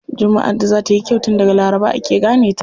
Jummaʼar da za tayi kyau tun daga laraba ake gane ta.